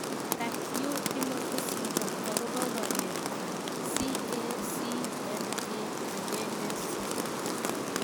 Tag'u Timothy syndrome akopo walet ab CACNA1C